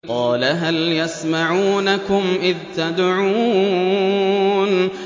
قَالَ هَلْ يَسْمَعُونَكُمْ إِذْ تَدْعُونَ